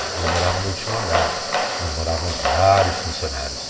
E eu morava no último andar, onde moravam vários funcionários.